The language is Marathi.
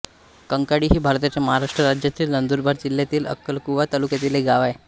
कंकाळी हे भारताच्या महाराष्ट्र राज्यातील नंदुरबार जिल्ह्यातील अक्कलकुवा तालुक्यातील एक गाव आहे